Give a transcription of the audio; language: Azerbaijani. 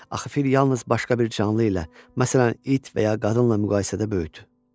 Axı fil yalnız başqa bir canlı ilə, məsələn, it və ya qadınla müqayisədə böyükdür.